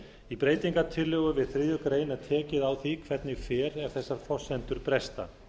í breytingartillögu við þriðju grein er tekið á því hvernig fer ef þessar forsendur bresta